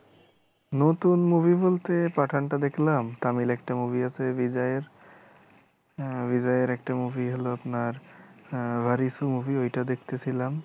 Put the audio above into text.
নতুন movie বলতে পাঠানটা দেখলাম তামিল একটা movie আছে রিজয়ের রিজয়ের একটা movie হলো আপনার আহ WarIssue movie ঐটা দেখতে ছিলাম